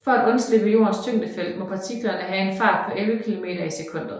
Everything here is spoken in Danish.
For at undslippe Jordens tyngdefelt må partiklerne have en fart på 11 km i sekundet